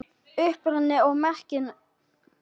Uppruni og merking